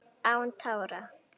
Án tára: